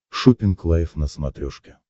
шоппинг лайв на смотрешке